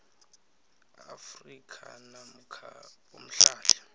afrika namkha umhlali